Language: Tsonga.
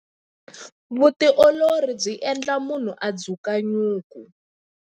Vutiolori byi endla munhu a dzuka nyuku.